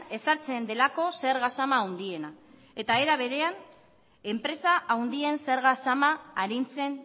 ezartzen delako zerga zama handiena eta era berean enpresa handien zerga zama arintzen